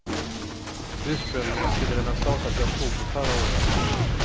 Ursprungligen skulle den ha startat i oktober förra året.